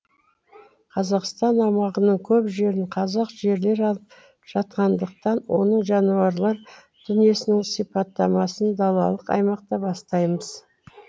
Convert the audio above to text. қазақстан аумағының көп жерін қазақ жерлері алып жатқандықтан оның жануарлар дүниесінің сипаттамасын далалық аймақтан бастаймыз